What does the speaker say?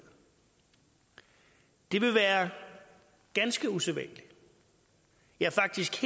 det vil være ganske usædvanligt ja faktisk